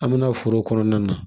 An bɛna foro kɔnɔna na